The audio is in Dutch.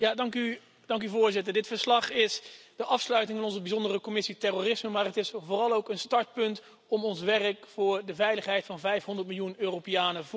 Voorzitter, dit verslag vormt de afsluiting van onze Bijzondere Commissie terrorisme, maar het is vooral ook een startpunt om ons werk voor de veiligheid van 500 miljoen Europeanen voort te zetten.